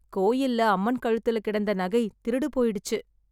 கோயில்ல அம்மன் கழுத்துல கிடந்த நகை திருடு போயிடுச்சு.